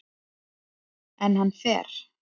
En hann fer.